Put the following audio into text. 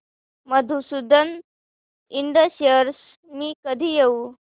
Madhusudan Ind shares मी कधी घेऊ